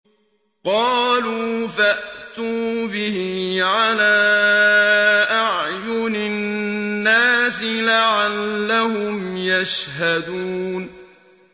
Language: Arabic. قَالُوا فَأْتُوا بِهِ عَلَىٰ أَعْيُنِ النَّاسِ لَعَلَّهُمْ يَشْهَدُونَ